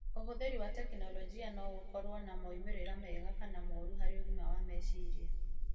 Ũhũthĩri wa tekinoronjĩ no gũkorwo na moimĩrĩro mega kana mooru harĩ ũgima wa meciria.